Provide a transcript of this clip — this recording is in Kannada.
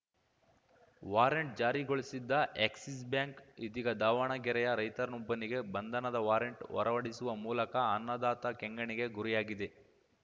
ವಾರಂಟ್‌ ಜಾರಿಗೊಳಿಸಿದ್ದ ಎಕ್ಸಿಸ್‌ ಬ್ಯಾಂಕ್‌ ಇದೀಗ ದಾವಣಗೆರೆಯ ರೈತನೊಬ್ಬನಿಗೆ ಬಂಧನದ ವಾರೆಂಟ್‌ ಹೊರವಡಿಸುವ ಮೂಲಕ ಅನ್ನದಾತ ಕೆಂಗಣ್ಣಿಗೆ ಗುರಿಯಾಗಿದೆ